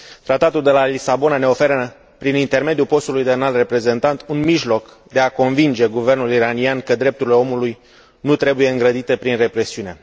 Tratatul de la Lisabona ne oferă, prin intermediul postului de Înalt Reprezentant, un mijloc de a convinge guvernul iranian că drepturile omului nu trebuie îngrădite prin represiune.